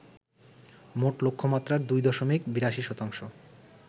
মোট লক্ষ্যমাত্রার ২ দশমিক ৮২ শতাংশ